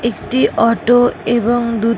একটি অটো এবং দুটি ।